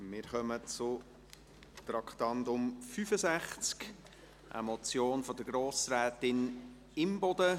Wir kommen zu Traktandum 65, einer Motion von Grossrätin Imboden: